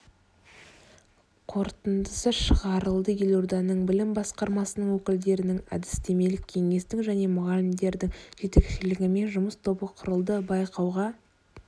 қорытындысы шығарылды елорданың білім басқармасының өкілдерінің әдістемелік кеңестің және мұғалімдердің жетекшілігімен жұмыс тобы құрылды байқауға